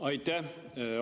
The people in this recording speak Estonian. Aitäh!